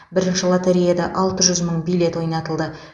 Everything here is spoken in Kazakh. бірінші лотереяда алты жүз мың билет ойнатылды